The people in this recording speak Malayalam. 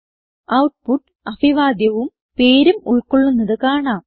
ഔട്ട്പുട്ട് അഭിവാദ്യവും പേരും ഉൾകൊള്ളുന്നത് കാണാം